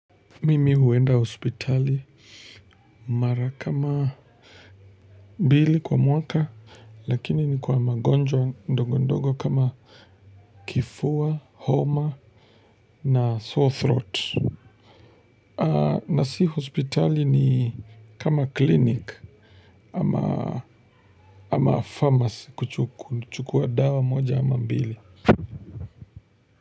Mimi huenda hospitali mara kama mbili kwa mwaka, lakini ni kwa magonjwa ndogo ndogo kama kifua, homa na sore throat. Na si hospitali ni kama clinic ama pharmacy kuchukua dawa moja ama mbili.